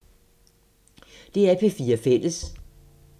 DR P4 Fælles